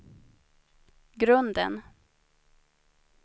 grunden